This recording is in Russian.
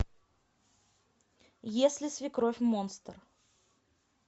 если свекровь монстр